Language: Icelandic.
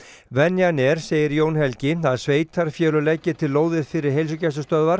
venjan er segir Jón Helgi að sveitarfélög leggi til lóðir fyrir heilsugæslustöðvar